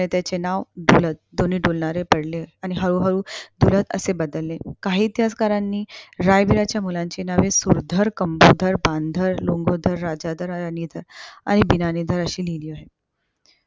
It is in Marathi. त्याचे नाव पडले आणि हळू हळू धुलत असे बदले. काही इतिहासकारानी रयबीरांच्या मुलांचे नावे सुरधर, कमलाधर, बांधर, लोंगोधर, राजाधर आणि गिनानीधर अशी लिहिली आहे.